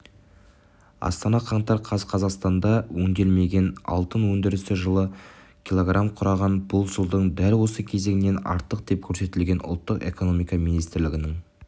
астана қаңтар қаз қазақстанда өңделмеген алтын өндірісі жылы кг құраған бұл жылдың дәл осы кезеңінен артық деп көрсетілген ұлттық экономика министрлігінің